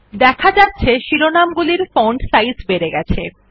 দেখা যাচ্ছে শিরোনাম গুলির ফন্ট সাইজ বেড়ে গেছে